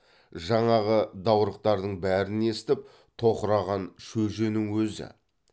жаңағы даурықтардың бәрін естіп тоқыраған шөженің өзі